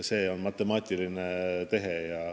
See on matemaatiline tehe.